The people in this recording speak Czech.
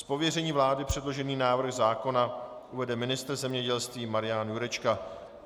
Z pověření vlády předložený návrh zákona uvede ministr zemědělství Marian Jurečka.